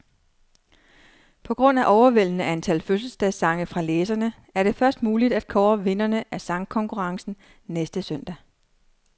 På grund af overvældende antal fødselsdagssange fra læserne, er det først muligt at kåre vinderne af sangkonkurrencen næste søndag.